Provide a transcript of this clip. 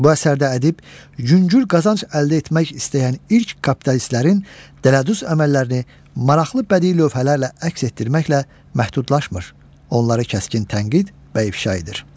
Bu əsərdə ədib yüngül qazanc əldə etmək istəyən ilk kapitalistlərin dələduz əməllərini maraqlı bədii lövhələrlə əks etdirməklə məhdudlaşmır, onları kəskin tənqid və ifşa edir.